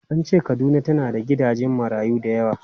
An ce Kaduna tana da gidajen marayu da yawa.